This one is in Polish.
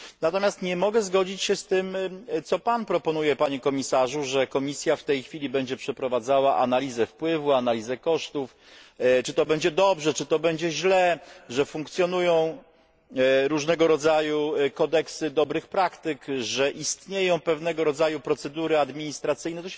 Natomiast nie mogę zgodzić się z tym, co Pan proponuje, Panie Komisarzu, że Komisja w tej chwili będzie przeprowadzała analizę wpływu, analizę kosztów, czy to będzie dobrze, czy to będzie źle, że funkcjonują różnego rodzaju kodeksy dobrych praktyk, że istnieją pewnego rodzaju procedury administracyjne.